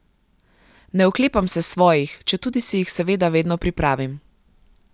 Ne oklepam se svojih, četudi si jih seveda vedno pripravim.